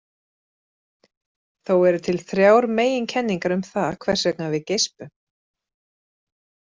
Þó eru til þrjár meginkenningar um það hvers vegna við geispum.